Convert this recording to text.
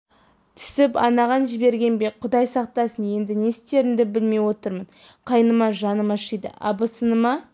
түсіп анаған жіберген бе құдай сақтасын енді не істерімді білмей отырмын кайныма жаным ашиды абысыныма